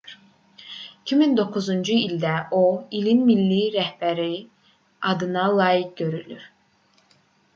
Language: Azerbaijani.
2009-cu ildə o i̇lin milli rəhbəri adına layiq görülür